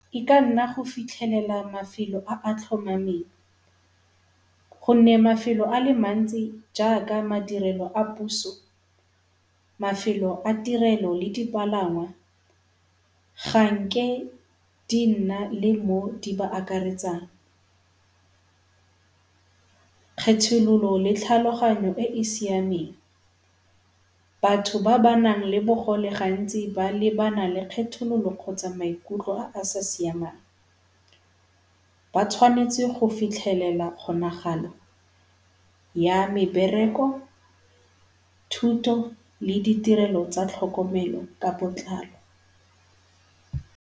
E ka nna go fitlhelela mafelo a a tlhomameng gonne mafelo a le mantsi jaaka madirelo a puso, mafelo a tirelo le dipalangwa ga nke di nna le mo di ba akaretsang. Kgethololo le tlhaloganyo e e siameng. Batho ba ba nang le bogole gantsi ba lebana le kgethololo gotsa maikutlo a a sa siamang. Ba tshwanetse go fitlhelela kgonagalo ya mebereko, thuto le ditirelo tsa tlhokomelo ka botlalo.